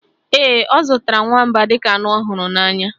Ee, ọ zụtara nwamba dịka anụ ọ hụrụ n'anya